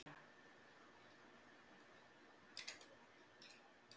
Fylkisliðið Sætasti sigurinn?